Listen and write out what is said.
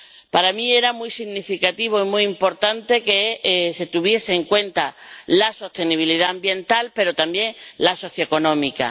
Para mí era muy significativo y muy importante que se tuviese en cuenta la sostenibilidad ambiental, pero también la socioeconómica.